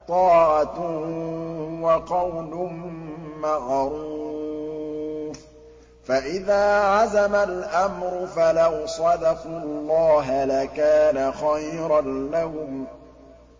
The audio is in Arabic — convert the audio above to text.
طَاعَةٌ وَقَوْلٌ مَّعْرُوفٌ ۚ فَإِذَا عَزَمَ الْأَمْرُ فَلَوْ صَدَقُوا اللَّهَ لَكَانَ خَيْرًا لَّهُمْ